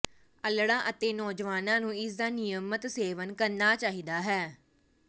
ਅੱਲੜ੍ਹਾਂ ਅਤੇ ਨੌਜਵਾਨਾਂ ਨੂੰ ਇਸ ਦਾ ਨਿਯਮਤ ਸੇਵਨ ਕਰਨਾ ਚਾਹੀਦਾ ਹੈ